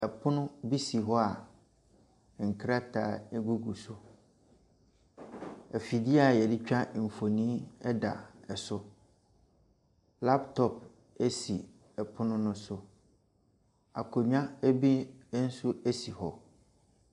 Ɛpono bi si hɔ a nkrataa egugu so. Ɛfidie a yɛdetwa nfonni ɛda so. Laptop esi ɛpono no so. Akonwa ebi esi hɔ.